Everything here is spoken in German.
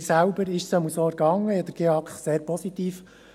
Mir selbst erging es jedenfalls so, ich empfand den GEAK als sehr positiv.